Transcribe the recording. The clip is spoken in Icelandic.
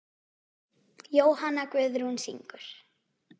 Jóhanna Guðrún syngur.